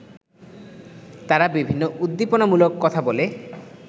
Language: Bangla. তারা বিভিন্ন উদ্দীপনামূলক কথা বলে